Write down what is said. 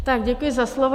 Tak děkuji za slovo.